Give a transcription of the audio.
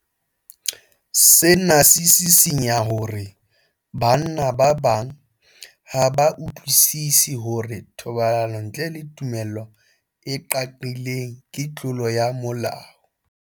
Sena se sisinya hore banna ba bang ha ba utlwisisi hore thobalano ntle le tumello e qaqileng ke tlolo ya molao.